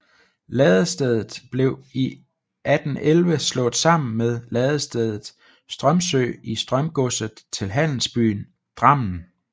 Ladestedet blev i 1811 slået sammen med ladetstedet Strømsø i Strømsgodset til handelsbyen Drammen